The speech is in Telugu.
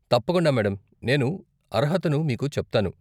తప్పకుండా మేడం! నేను అర్హతను మీకు చెప్తాను.